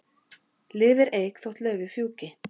Lifir eik þótt laufið fjúki.